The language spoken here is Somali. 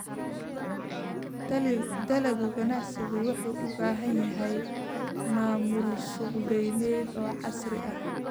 Dalagga ganacsigu wuxuu u baahan yahay maamul suuqgeyneed oo casri ah.